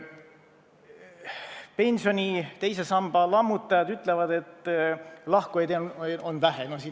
Pensioni teise samba lammutajad ütlevad, et sambast lahkujaid on vähe.